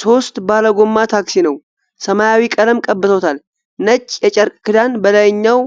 ሦስት ባለጎማ ታክሲ ነው። ሰማያዊ ቀለም ቀብተውታል። ነጭ የጨርቅ ክዳን በላይኛው